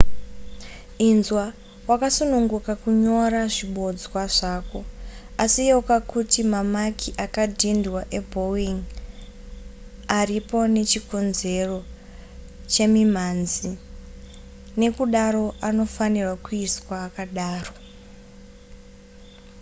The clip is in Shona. inzwa wakasununguka kunyora zvibodzwa zvako asi yeuka kuti mamaki akadhindwa ebowing aripo nechikonzero chemimhanzi nekudaro anofanirwa kusiiwa akadaro